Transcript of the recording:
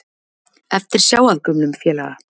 Eftirsjá að gömlum félaga